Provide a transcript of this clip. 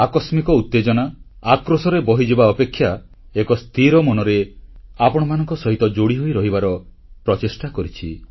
ଆକସ୍ମିକ ଉତେଜନା ଆକ୍ରୋଶରେ ବହିଯିବା ଅପେକ୍ଷା ଏକ ସ୍ଥିର ମନରେ ଆପଣମାନଙ୍କ ସହ ଯୋଡ଼ି ହୋଇ ରହିବାର ପ୍ରଚେଷ୍ଟା କରିଛି